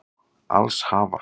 Alls hafa